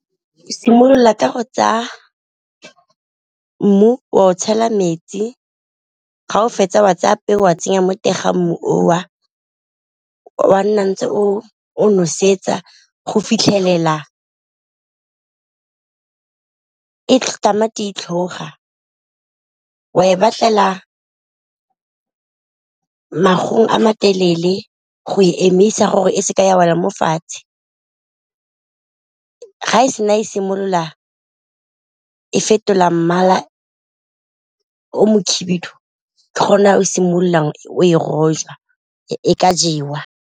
O simolola ka go tsaya mmu o a o tshela metsi, ga o fetsa of a tsaya peo o a tsenya mo teng ga mmu oo, o a nna ntse o nosetsa go fitlhelela tamati e tlhoga o a e batlela magong a matelele go e emisa gore e seke ya wa mo fatshe, ga e sena e simolola e fetola mmala o mokhibidu ke gona o simololang o e rojwa e ka jewa.